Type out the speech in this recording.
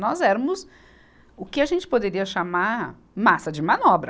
Nós éramos o que a gente poderia chamar massa de manobra.